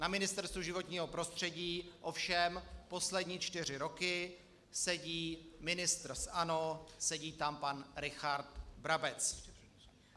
Na Ministerstvu životního prostředí ovšem poslední čtyři roky sedí ministr z ANO, sedí tam pan Richard Brabec.